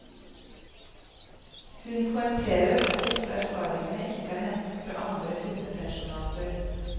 Hun poengterer at disse erfaringene ikke er hentet fra andre hundepensjonater.